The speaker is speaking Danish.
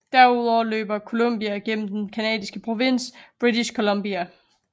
Derudover løber Columbia gennem den Canadisk provins British Columbia